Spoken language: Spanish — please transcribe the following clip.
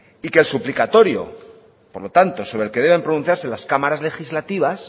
y que el suplicatorio por lo tanto sobre el que deben pronunciarse las cámaras legislativas